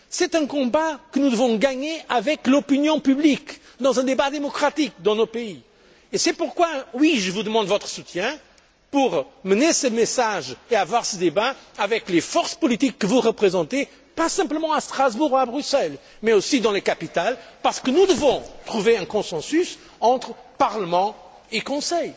national. C'est un combat que nous devons gagner avec l'opinion publique, à travers un débat démocratique dans nos pays. Et c'est pourquoi je demande votre soutien pour que ce débat ait lieu avec les forces politiques que vous représentez, pas simplement à Strasbourg ou à Bruxelles, mais aussi dans les capitales parce que nous devons dégager un consensus entre Parlement